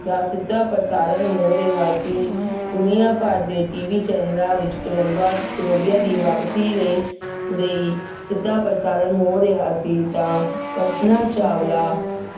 ਦਾ ਸਿੱਧਾ ਪ੍ਰਸਾਰਣ ਹੋ ਰਿਹਾ ਸੀ। ਦੁਨੀਆ ਭਰ ਦੇ TV ਚੈਨਲਾਂ ਵਿੱਚ ਕੋਲੰਬਾ~ ਕੋਲੰਬੀਆ ਦੀ ਵਾਪਸੀ ਲਈ ਲਈ ਸਿੱਧਾ ਪ੍ਰਸਾਰਣ ਹੋ ਰਿਹਾ ਸੀ ਤਾਂ ਕਲਪਨਾ ਚਾਵਲਾ